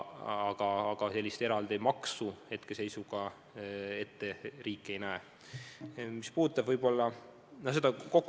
Aga sellist eraldi maksu hetkeseisuga riik ette ei näe.